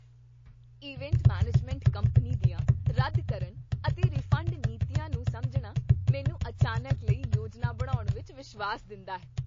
Event management company ਦੀਆਂ ਰੱਦ ਕਰਨ ਅਤੇ ਰਿਫੰਡ ਨੀਤੀਆਂ ਨੂੰ ਸਮਝਣਾ ਮੈਨੂੰ ਅਚਾਨਕ ਲਈ ਯੋਜਨਾ ਬਣਾਉਣ ਵਿੱਚ ਵਿਸ਼ਵਾਸ ਦਿੰਦਾ ਹੈ।